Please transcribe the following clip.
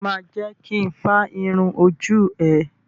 Ṣo ma jẹ́ kin fá irun ojú ẹ?